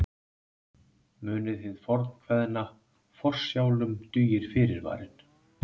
Munið hið fornkveðna: Forsjálum dugir fyrirvarinn.